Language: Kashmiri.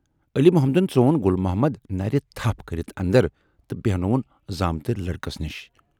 علی محمدن ژون گُل محمد نَرِ تھَپھ کٔرِتھ اندر تہٕ بیہنووُن زامتٕرۍ لٔڑکس نِش۔